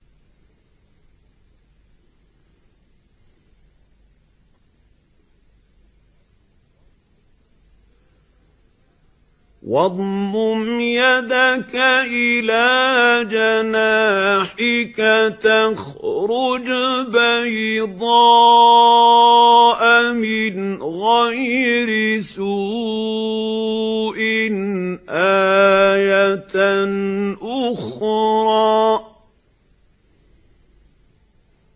وَاضْمُمْ يَدَكَ إِلَىٰ جَنَاحِكَ تَخْرُجْ بَيْضَاءَ مِنْ غَيْرِ سُوءٍ آيَةً أُخْرَىٰ